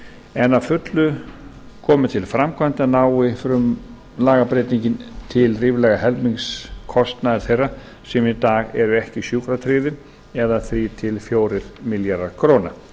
en að fullu komið til framkvæmda nái lagabreytingin til ríflega helmings kostnaðar þeirra sem í dag eru ekki sjúkratryggðir eða þrjú til fjórir milljarðar króna